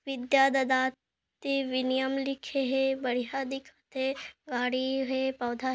विद्या ददाति विनियम लिखे हे बढ़िया दिखत हे गाड़ी हे पौधा--